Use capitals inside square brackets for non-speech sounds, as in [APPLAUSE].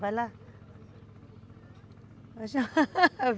Vai lá [LAUGHS]